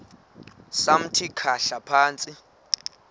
samthi khahla phantsi